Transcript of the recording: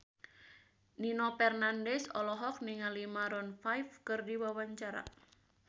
Nino Fernandez olohok ningali Maroon 5 keur diwawancara